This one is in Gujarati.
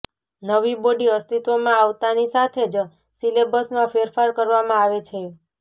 નવી બોડી અસ્તિત્વમાં આવતાની સાથે જ સીલેબસમાં ફેરફાર કરવામાં આવે છે